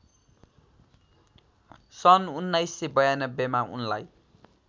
सन् १९९२ मा उनलाई